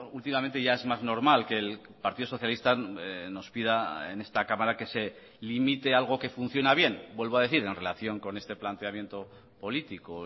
últimamente ya es más normal que el partido socialista nos pida en esta cámara que se limite algo que funciona bien vuelvo a decir en relación con este planteamiento político